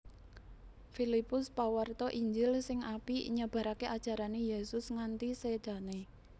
Filipus pawarta Injil sing apik nyebaraké ajarané Yésus nganti sédané